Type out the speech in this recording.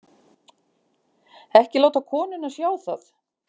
Ekki láta konuna sjá það.